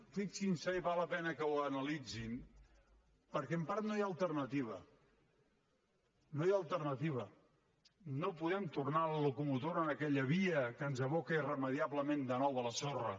fixin s’hi i val la pena que ho analitzin perquè en part no hi ha alternativa no hi ha alternativa no podem tornar la locomotora en aquella via que ens aboca irremeiablement de nou a la sorra